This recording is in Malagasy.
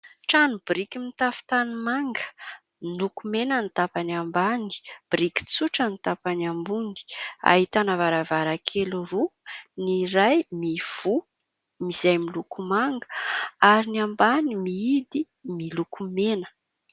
Trano biriky mitafo tanimanga, miloko mena ny tapany ambany, biriky tsotra ny tapany ambony. Ahitana varavarankely roa : ny iray mivoha, izay miloko manga ary ny ambany mihidy, miloko mena.